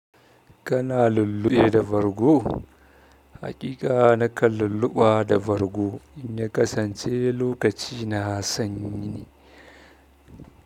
Kana lulluɓe da bargo? Hakika na kan lulluɓa da bargo, in na kasance lokaci na sanyi ne.